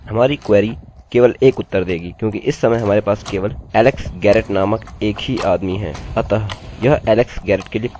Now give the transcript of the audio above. अतः यह alex garrett के लिए पूरा डेटा लेगा और male या female के लिए जाँचेगा और फिर यह विशिष्ट सूचना एकोecho करेगा